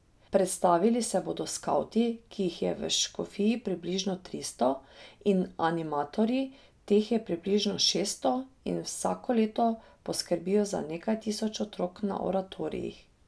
Predstavili se bodo skavti, ki jih je v škofiji približno tristo, in animatorji, teh je približno šeststo, in vsako leto poskrbijo za nekaj tisoč otrok na oratorijih.